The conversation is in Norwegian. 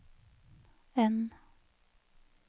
N